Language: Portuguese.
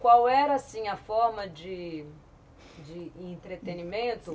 Qual era, assim, a forma de de entretenimento?